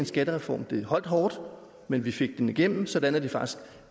skattereformen det holdt hårdt men vi fik den igennem sådan at det faktisk